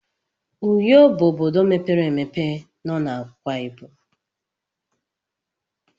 Uyo bụ obodo mepere emepe nọ na Akwaibom.